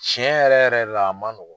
Cɛn yɛrɛ yɛrɛ de la a man nɔgɔn.